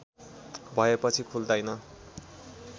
भएपछि खुल्दैन